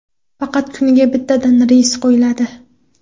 Faqat kuniga bittadan reys qo‘yiladi.